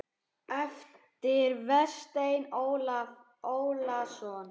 eftir Véstein Ólason